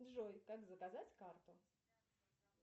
джой как заказать карту